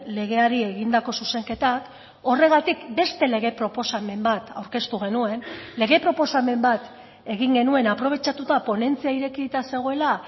legeari egindako zuzenketak horregatik beste lege proposamen bat aurkeztu genuen lege proposamen bat egin genuen aprobetxatuta ponentzia irekita zegoela